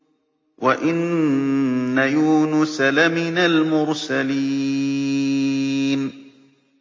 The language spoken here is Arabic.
وَإِنَّ يُونُسَ لَمِنَ الْمُرْسَلِينَ